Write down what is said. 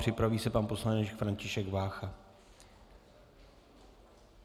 Připraví se pan poslanec František Vácha.